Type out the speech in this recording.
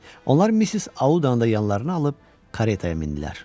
Onlar Missis Audanı da yanlarına alıb karetaya mindilər.